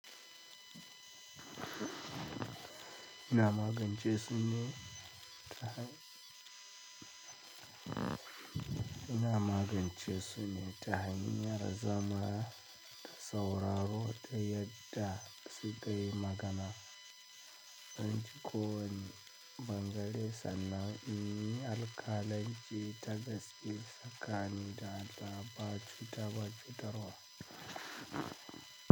Ina magance su ne ta hanyar zama da sauraro ta yadda su kayi magana. An ji ko wane ɓangare sannan in yi alkalanci ta gaske ka ni da ba cuta ba cutawa.